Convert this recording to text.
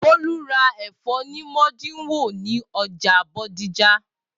Bolu ra ẹfọ ni modinwo ni ọja bodija.